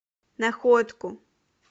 находку